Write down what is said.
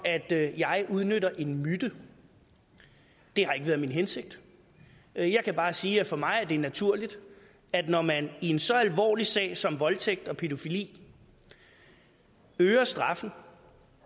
at jeg udnytter en myte det har ikke været min hensigt jeg jeg kan bare sige at for mig er det naturligt når man i så alvorlige sager som voldtægt og pædofili øger straffen